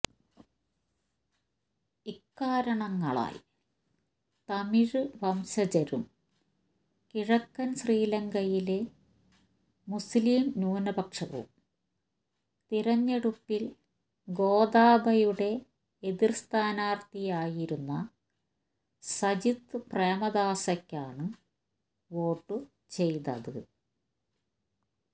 ഇക്കാരണങ്ങളാൽ തമിഴ് വംശജരും കിഴക്കൻ ശ്രീലങ്കയിലെ മുസ്ലീം ന്യൂനപക്ഷവും തിരഞ്ഞെടുപ്പിൽ ഗോതാബയുടെ എതിർ സ്ഥാനാർത്ഥിയായിരുന്ന സജിത് പ്രേമദാസയ്ക്കാണ് വോട്ടുചെയ്തത്